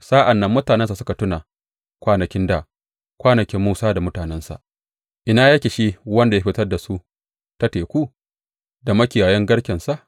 Sa’an nan mutanensa suka tuna kwanakin dā, kwanakin Musa da mutanensa, ina yake shi wanda ya fitar da su ta teku, da makiyayan garkensa?